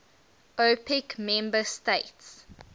opec member states